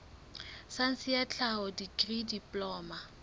saense ya tlhaho dikri diploma